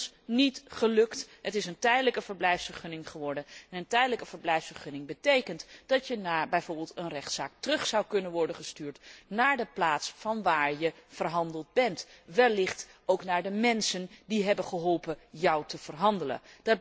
Dat is ons niet gelukt, het is een tijdelijke verblijfsvergunning geworden en een tijdelijke verblijfsvergunning betekent dat je na bijvoorbeeld een rechtszaak terug zou kunnen worden gestuurd naar de plaats vanwaar je verhandeld bent, wellicht ook naar de mensen die hebben geholpen jou te verhandelen.